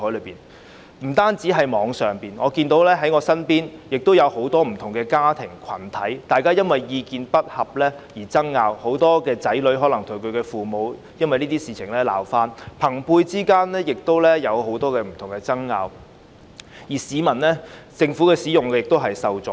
我看到不單網上，我身邊亦有很多不同的家庭和群體因意見不合而爭拗，很多子女可能因這些事而與父母鬧翻，而朋輩間亦有很多不同的爭拗，市民在使用政府服務時亦受阻。